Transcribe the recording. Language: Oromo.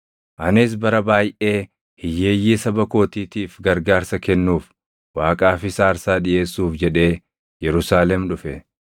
“Anis bara baayʼee hiyyeeyyii saba kootiitiif gargaarsa kennuuf, Waaqaafis aarsaa dhiʼeessuuf jedhee Yerusaalem dhufe.